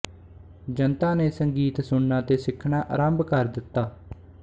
ਜਨਤਾ ਨੇ ਸੰਗੀਤ ਸੁਣਨਾ ਤੇ ਸਿੱਖਣਾ ਆਰੰਭ ਕਰ ਦਿੱਤਾ